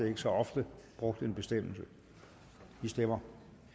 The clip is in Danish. ikke så ofte brugt bestemmelse vi stemmer